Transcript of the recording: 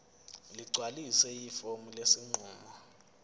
ligcwalise ifomu lesinqumo